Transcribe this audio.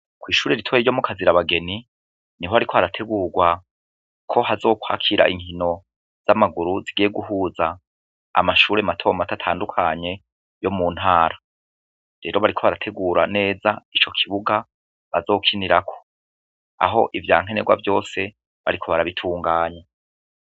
Kw'ishure ritoya ryo Mukazirabageni, niho hariko harategurwa ko hazokwakira inkino z'amaguru zigiye guhuza amashuri mato mato atandukanye yo mu ntara . Rero bariko bategura neza ico kibuga bazokinirako, aho ivya nkenerwa vyose bariko barabitunganya.